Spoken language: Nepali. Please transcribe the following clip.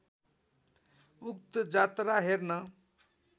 उक्त जात्रा हेर्न